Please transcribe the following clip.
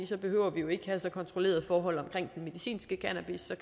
så behøver vi jo ikke have så kontrollerede forhold omkring den medicinske cannabis